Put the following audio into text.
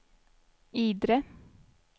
Idre